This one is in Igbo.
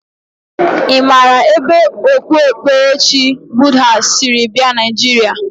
I mara ebe okpukperechi Buddha siri bia Naijiria?